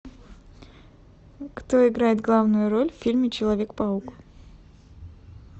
кто играет главную роль в фильме человек паук